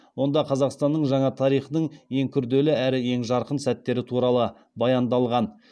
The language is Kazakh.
онда қазақстанның жаңа тарихының ең күрделі әрі ең жарқын сәттері туралы баяндалған